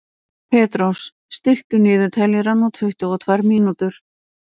Petrós, stilltu niðurteljara á tuttugu og tvær mínútur.